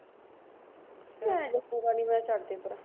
ਮੈਂ ਛੱਡਤੀ ਪਰਾਂ।